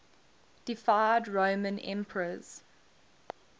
deified roman emperors